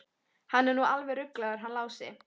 Hann er nú alveg ruglaður hann Lási.